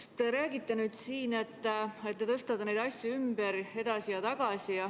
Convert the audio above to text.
Te räägite siin, et te tõstate neid asju ümber, edasi ja tagasi.